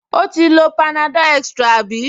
O ti lo panadol extra àbí?